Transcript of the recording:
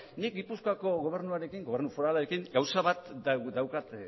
nik gipuzkoako gobernu foralarekin gauza bat daukat